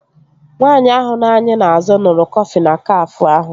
Nwaanyị ahụ nọ anyị n'azụ ṅụrụ kọfị na Kafé ahụ